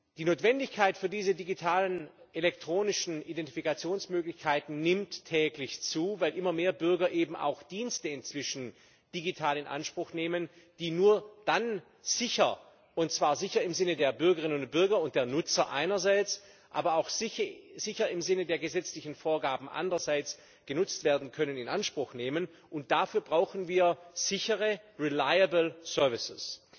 Die Notwendigkeit für diese digitalen elektronischen Identifikationsmöglichkeiten nimmt täglich zu, weil immer mehr Bürger eben auch Dienste inzwischen digital in Anspruch nehmen, die nur dann sicher und zwar sicher im Sinne der Bürgerinnen und Bürger und der Nutzer einerseits, aber auch sicher im Sinne der gesetzlichen Vorgaben anderseits genutzt werden können. Und dafür brauchen wir sichere, reliable services